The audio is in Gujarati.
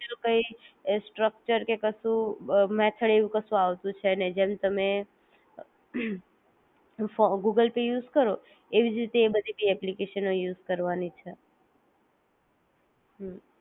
બીજુ તો કાઇ એ સ્ટ્રક્ચર કે કશું કે મેથડ એવું કશું આવતું છે નહી જેમ તમે ગૂગલ પે યુઝ કરો એવી જ રીતે એ બધી ભી ઍપ્લિકેશનો યુઝ કરવાની છે